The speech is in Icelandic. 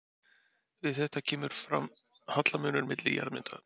Við þetta kemur fram hallamunur milli jarðmyndana.